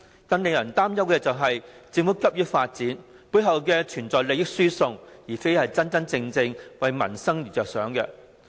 更令人擔憂的是，政府急於發展，背後存在利益輸送，而非真正為民生着想。